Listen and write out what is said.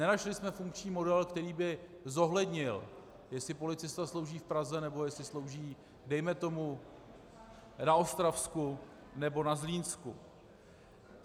Nenašli jsme funkční model, který by zohlednil, jestli policista slouží v Praze, nebo jestli slouží dejme tomu na Ostravsku nebo na Zlínsku.